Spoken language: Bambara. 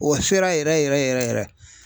O sera yɛrɛ yɛrɛ yɛrɛ yɛrɛ.